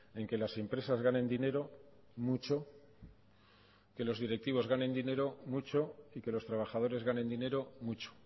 en que las empresas ganen dinero mucho que los directivos ganen dinero mucho y que los trabajadores ganen dinero mucho